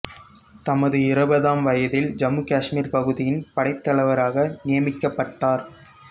தமது இருபதாம் வயதில் ஜம்மு காஷ்மீர் பகுதியின் படைத்தலைவராக நியமிக்கப்பட்டார்